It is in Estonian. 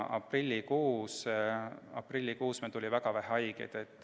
Aprillikuus tuli ju haigeid väga vähe.